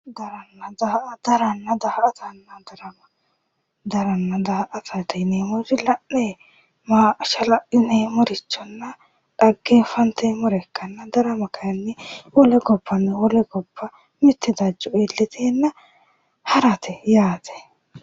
Daranna daa"atanna darama daranna daa"atate yineemmohu dila'neeti la'neeti ashala'lineemmorichonna dhaggeenfanteemmoricho ikkanna darama kayeenni mitte jaddo iillitenna harate yaate